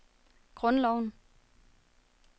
grundloven